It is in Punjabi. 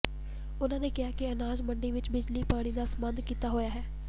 ਉਨ੍ਹਾਂ ਕਿਹਾ ਕਿ ਅਨਾਜ ਮੰਡੀ ਵਿੱਚ ਬਿਜਲੀ ਪਾਣੀ ਦਾ ਪ੍ਰਬੰਧ ਕੀਤਾ ਹੋਇਆ ਹੈ